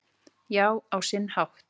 Já, á sinn hátt